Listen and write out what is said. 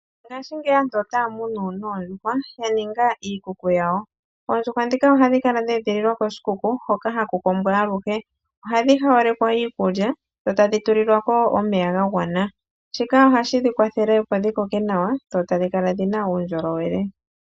Ngashingeyi aantu otaya munu noondjuhwa, ya ninga iikuku yawo. Oondjuhwa ndhika ohadhi kala dha edhililwa koshikuku hoka haku kombwa aluhe. Ohadhi hawalekwa iikulya, dho tadhi tulilwa ko wo omeya ga gwana. Shika ohashi dhi kwathele opo dhi koke nawa, dho tadhi kala dhi na uundjolowele.